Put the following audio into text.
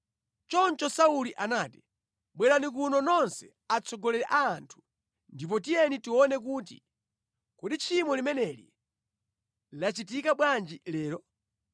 Choncho Sauli anati, “Bwerani kuno nonse atsogoleri a anthu, ndipo tiyeni tione kuti kodi tchimo limeneli lachitika bwanji lero?